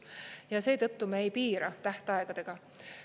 Ja seetõttu me ei piira tähtaegadega.